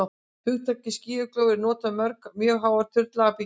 hugtakið skýjakljúfur er notað um mjög háar turnlaga byggingar